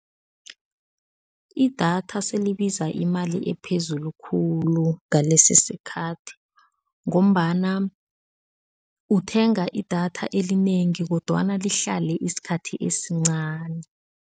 Idatha sele libiza imali ephezulu khulu ngalesisikhathi ngombana uthenga idatha elinengi kodwana lihlale isikhathi esincani.